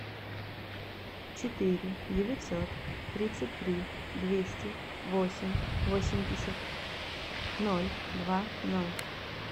четыре девятьсот тридцать три двести восемь восемьдесят ноль два ноль